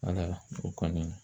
Ala o kɔni